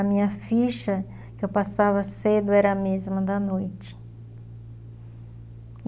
A minha ficha que eu passava cedo era a mesma da noite.